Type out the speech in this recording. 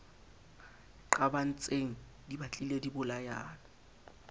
qabantseng di batlile di bolayana